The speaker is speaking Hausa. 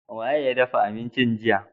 Wa ye ya dafa abincin jiya?